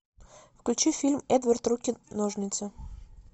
включи фильм эдвард руки ножницы